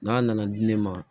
N'a nana di ne ma